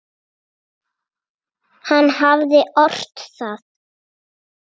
Hann hafði ort það.